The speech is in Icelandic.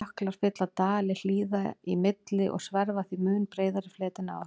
Jöklar fylla dali hlíða í milli og sverfa því mun breiðari fleti en ár.